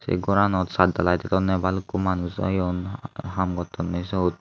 ey ghoranot sattdhaliy dedonne bhalukku manuj oyun ham gottonne sut.